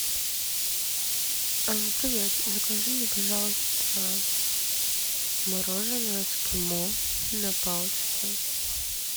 привет закажи мне пожалуйста мороженое эскимо на палочке